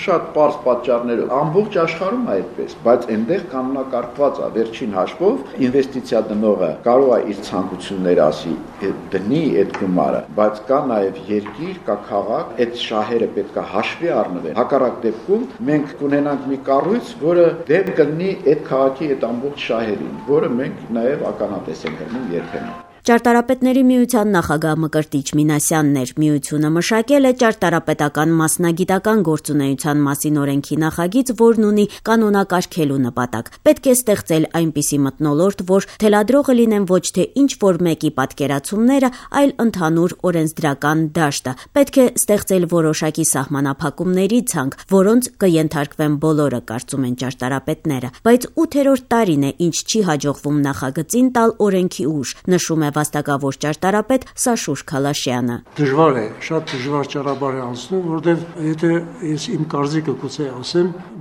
կերպարը: «Ամբողջ աշխարհում է այդպես, բայց այնտեղ կյանոնակարգված է: Վերջին հաշվով ներդրողը կարող է իր ցանկություններն ասել եւ դնել այդ գումարը: Բայց կա նաեւ երկիր, կա քաղաք, այդ շահերը պետք է հաշվի առնվեն: Հակառակ դեպքում մենք կունենանք մի կառույց, որը դեմ կլինի այդ քաղաքի ամբողջ շահերին, որին մենք ականատես ենք լինում երբեմն»: Ճարտարապետների միության նախագահ Մկրտիչ Մինասյանն էր: Միությունը մշակել է «Ճարտարապետական մասնագիտական գործունեության մասին» օրենքի նախագիծ, որն ունի կանոնակարգելու նպատակ։ Պետք է ստեղծել այնպիսի մթնոլորտ, որ թելադրողը լինեն ոչ թե ինչ-որ մեկի պատկերացումները, այլ ընդհանուր օրենսդրական դաշտը, պետք է ստեղծել որոշակի սահմանափակումների ցանկ, որոնց կենթարկվեն բոլորը, կարծում են ճարտարապետները: Բայց 8-րդ տարին է, ինչ չի հաջողվում նախագծին տալ օրենքի ուժ, նշում է վաստակավոր ճարտարապետ Սաշուր Քալաշյանը: «Շատ դժվար ճանապարհ է անցնում: Իմ կարծիքով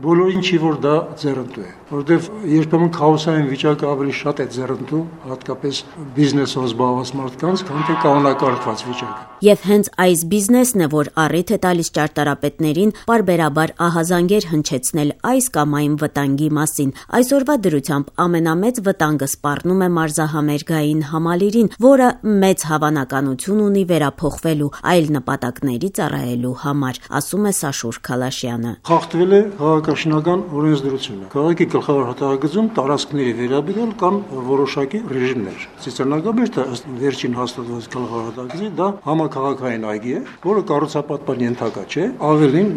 բոլորին չէ, որ դա ձեռնտու է, որովհետեւ երբեմն քաոսային վիճակը ավելի է ձեռնտու հատկապես բիզնեսով զբաղված մարդկանց, քան թե կանոնակարգված վիճակը»: Եվ հենց այդ բիզնեսն է, որ առիթ է տալիս ճարտարապետներին պարբերաբար ահազանգեր հնչեցնել այս կամ այն վտանգի մասին: Այսօրվա դրությամբ ամենամեծ վտանգը սպառնում է Մարզահամերգային համալիրին, որը մեծ հավանականություն ունի վերափոխվելու՝ այլ նպատակների ծառայելու համար, ասում է Սաշուր Քալաշյանը: «Խախտվել է քաղաքաշինական օրենսդրությունը: Քաղաքի գլխավոր հատակագծում տարածքների վերաբերյալ կան որոշակի ռեժիմներ: Ծիծեռնակաբերդը՝ ըստ վերջին հաստատված հատակագծի, համաքաղաքային այգի է, որը կառուցապատման ենթակա չէ: Ավելին՝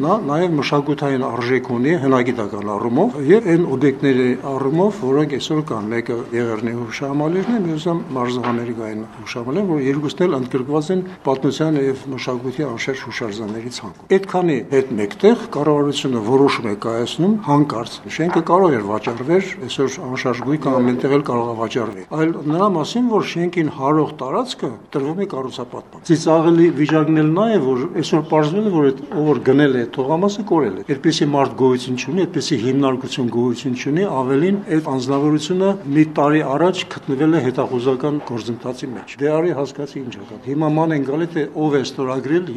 մշակութային արժեք ունի հնագիտական առումով, եւ այն օբյեկտների առումով, որոնք այսօր կան՝ մեկը Եղեռնի հուշահամալիրն է, մյուսը մարզահամերգային համալիրը: Երկուսն էլ ընդգրկված են պատմության եւ մշակույթի հուշարձանների ցանկում: Շենքը կարող էր վաճառվել, ամեն տեղ էլ շենքերը վաճառվում են, բայց տարածքն է տրվել կառուցապատման: Ամենածիծխաղելին այստեղ այն է, որ այսօր պարզվում է՝ ով գնել է այդ տարածքը, կորել է: Այդպիսի մարդ գոյություն չունի, այդպիսի հիմնարկ գոյություն չունի, ավելին՝ այդ անձնավորությունը մեկ տարի առաջ գտնվել է հետախուզման մեջ: Դե արի ու հասկացի ինչ է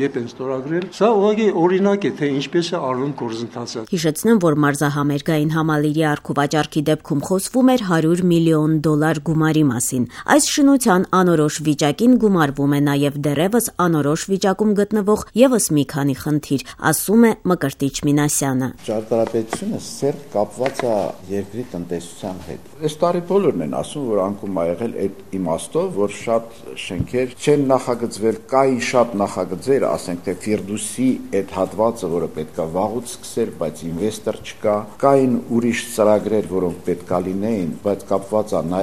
կատարվում: Սա ընդամենը մեկ օրինակ է, թե ինչպես են իրականացվում գործընթացները»: Հիշեցնեմ, որ մարզահամերգային համալիրի առուվաճառքի դեպքում խոսվում էր 100 միլիոն դոլար գումարի մասին: Այս շինության անորոշ վիճակին գումարվում է նաեւ դեռեւս անորոշ վիճակում գտնվող եւս մի քանի խնդիր, ասում է Մկրտիչ Մինասյանը: « Ճարտարապետությունը սերտ կապված է տնտեսության հետ: Այս տարի բոլորն են ասում, որ անկում է եղել այն իմաստով, որ շատ շենքեր չեն նախագծվել, կային շատ նախագծեր, ասենք թե Ֆիրդուսի այն հատվածը, որ վաղուց պետք է կառուցապատվեր, բայց ներդրող չկա, կային ուրիշ ծրագրեր, որոնք պետք է իրագործվեին, բայց կապված էին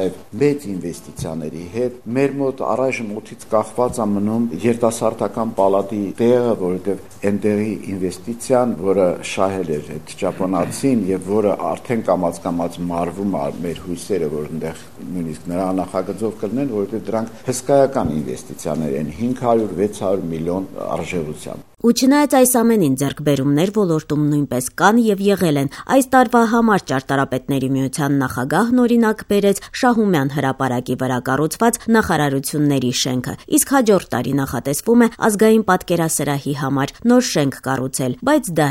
մեծ ներդրումների հետ: Մեզ մոտ առայժմ օդից կախված է մնում երիտասարդական պալատի տեղը, որովհետեւ այն ծրագիրը, որը շահել էր ճապոնացին, հիմա աստիճանաբար մարվում են մեր հույսերը, թե իրականություն կդառնա: Հսկայական ներդրման մասին էր խոսքը՝ 500-600 միլիոն արժողությամբ»: Ու չնայած այս ամենին, ձեռքբերումներ ոլորտում նույնպես կան եւ եղել են: Այս տարվա համար Ճարտարապետների միության նախագահն օրինակ բերեց Շահումյան հրապարակի վրա կառուցված նախարարությունների շենքը: Իսկ հաջորդ տարի նախատեսվում է Ազգային պատկերասրահի համար նոր շենք կառուցել, բայց դա